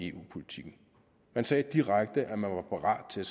eu politikken man sagde direkte at man var parat til